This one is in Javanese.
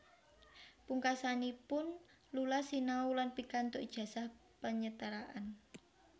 Pungkasanipun Lula sinau lan pikantuk ijazah penyetaraan